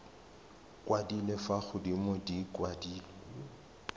kwadilwe fa godimo di kwadilwe